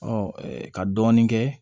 ka dɔɔnin kɛ